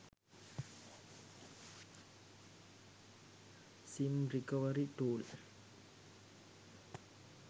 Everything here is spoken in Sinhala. sim recovery tool